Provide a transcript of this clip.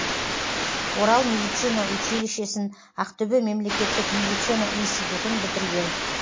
орал медицина училищесін ақтөбе мемлекеттік медицина институтын бітірген